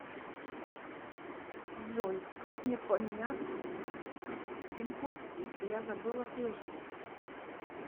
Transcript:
джой как мне поминят пин код если я забыла прежний